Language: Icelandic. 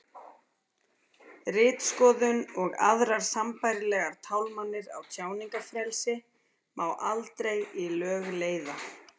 ritskoðun og aðrar sambærilegar tálmanir á tjáningarfrelsi má aldrei í lög leiða